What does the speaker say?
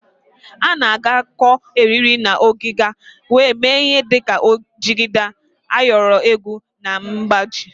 A na-agakọ eriri na ọgịga wee mee ihe dịka jigida, ayọrọ egwu na mgbaji.